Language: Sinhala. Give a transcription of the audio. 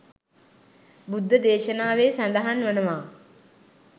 බුද්ධ දේශනාවේ සඳහන් වනවා.